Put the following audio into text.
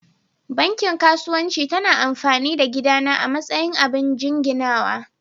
Banki kasuwanci ta na amfani da gida na a matsayin abin jinginawa.